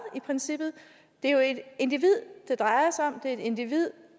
i princippet det er jo et individ det drejer sig om det er et individ